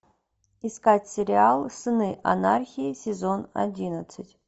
искать сериал сыны анархии сезон одиннадцать